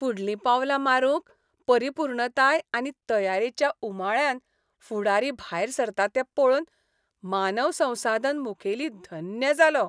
फुडलीं पावलां मारूंक परिपूर्णताय आनी तयारेच्या उमाळ्यान फुडारी भायर सरता तें पळोवन मानव संसाधन मुखेली धन्य जालो.